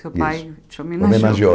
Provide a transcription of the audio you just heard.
Seu pai Isso Te homenageou. Homenageou